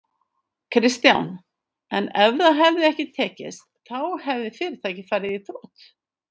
Kristján: En ef það hefði ekki tekist þá hefði fyrirtækið farið í þrot?